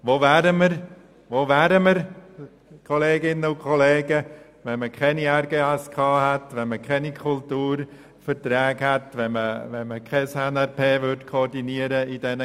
Wo wären wir, wenn wir keine RGSK und keine Kulturverträge hätten, und wenn man in diesen Gremien keine NRP koordinieren würde?